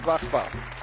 uns nicht